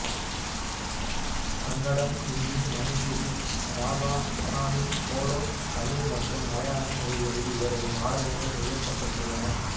கன்னடம் இந்தி மணிப்புரி ராபா அஸாமி போடோ தமிழ் மற்றும் மலையாள மொழிகளில் இவரது நாடகங்கள் நிகழ்த்தப்பட்டுள்ளன